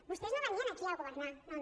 vostès no venien aquí a governar no no